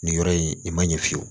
Nin yɔrɔ in i man ɲɛ fiyewu